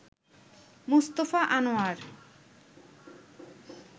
Mustafa Anwar